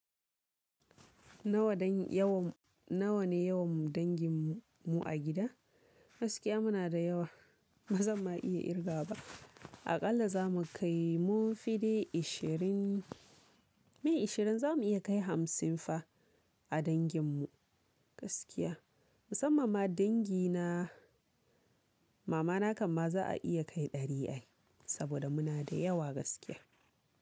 Nawa dan yawan, nawa ne yawan dangin mu a gida? Gaskiya muna da yawa, ba zan ma iya irga ba. Aƙalla za mu kai mun fi de ishirin. Miye ishirin za mu iya kai hamsin fa a dangin mu gaskiya. Musamma ma dangi na, mama na kamma za a iya kai ɗari ai. Saboda muna da yawa gaskiya.